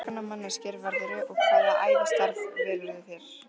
Hverskonar manneskja verðurðu og hvaða ævistarf velurðu þér?